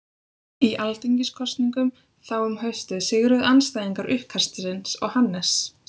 Í alþingiskosningum þá um haustið sigruðu andstæðingar uppkastsins og Hannes